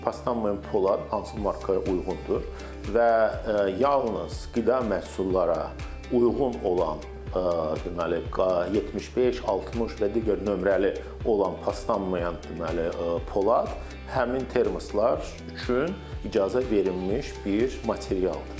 Paslanmayan polad hansı markaya uyğundur və yalnız qida məhsullara uyğun olan deməli, q 75, 60 və digər nömrəli olan paslanmayan, deməli, polad həmin termoslar üçün icazə verilmiş bir materialdır.